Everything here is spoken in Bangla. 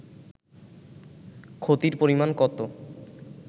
ক্ষতির পরিমান কত